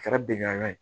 Kɛra bɛngan ye